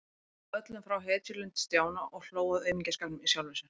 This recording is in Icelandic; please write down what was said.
Og hún sagði öllum frá hetjulund Stjána og hló að aumingjaskapnum í sjálfri sér.